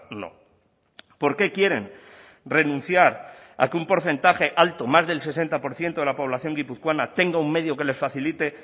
no por qué quieren renunciar a que un porcentaje alto más del sesenta por ciento de la población guipuzcoana tenga un medio que le facilite